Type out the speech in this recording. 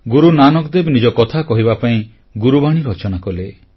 ଗୁରୁ ନାନକ ଦେବ ନିଜ କଥା କହିବା ପାଇଁ ଗୁରୁବାଣୀ ରଚନା କଲେ